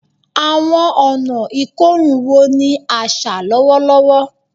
Awọn ọna ikorun wo ni aṣa lọwọlọwọ?